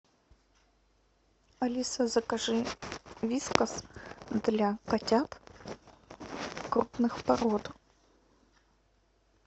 алиса закажи вискас для котят крупных пород